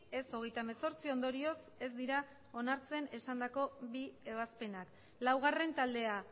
ez hogeita hemezortzi ondorioz ez dira onartzen esandako bi ebazpenak laugarren taldea